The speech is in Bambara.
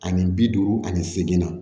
Ani bi duuru ani seegin na